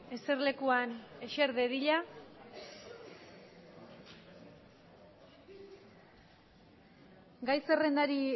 eserlekuan eser dadila gai zerrendari